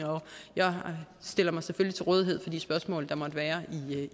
jeg stiller mig selvfølgelig til rådighed for de spørgsmål der måtte være